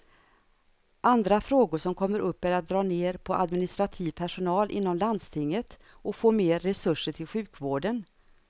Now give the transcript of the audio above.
Andra frågor som kommer upp är att dra ner på administrativ personal inom landstinget och få mer resurser till sjukvården.